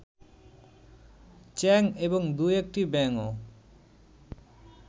চ্যাং এবং দু-একটি ব্যাঙও